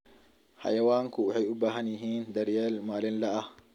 Xayawaanku waxay u baahan yihiin daryeel maalinle ah.